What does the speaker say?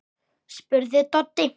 spurði Doddi.